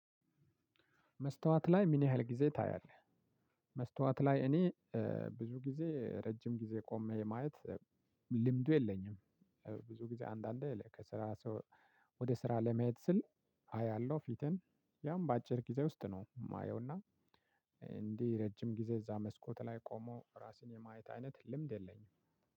"መስታወት ላይ ምን ያህል ጊዜ ታያለህ?" መስታወት ላይ እኔ ብዙ ጊዜ ረጅም ጊዜ ቆሜ የማየት ልምዱ የለኝም። ብዙ ጊዜ አንዳንዴ ለ ከስራ ስወ ወደ ስራ ለመሄድ ስል አያለሁ ፊቴን ያም በአጭር ጊዜ ውስጥ ነው የማየውና እንዲህ ረጅም ጊዜ እዛ መስኮት ላይ ቆሞ ራስን የማየት አይነት ልምድ የለኝም።